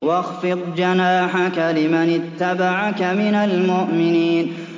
وَاخْفِضْ جَنَاحَكَ لِمَنِ اتَّبَعَكَ مِنَ الْمُؤْمِنِينَ